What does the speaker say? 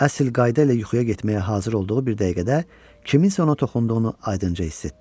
Əsl qayda ilə yuxuya getməyə hazır olduğu bir dəqiqədə kimsənin ona toxunduğunu aydınca hiss etdi.